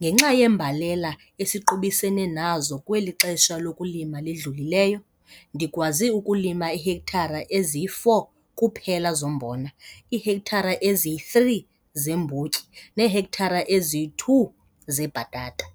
Ngenxa yembalela esiqubisene nayo kweli xesha lokulima lidlulileyo, ndikwazi ukulima iihektare ezi-4 kuphela zombona, iihektare ezi-3 zeembotyi neehektare ezi-2 zebhatata.